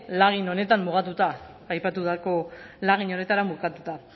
lagin honetan mugatuta aipatutako lagin horretara mugatuta